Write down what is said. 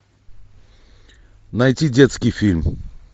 найти детский фильм